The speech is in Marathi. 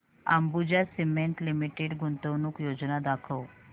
अंबुजा सीमेंट लिमिटेड गुंतवणूक योजना दाखव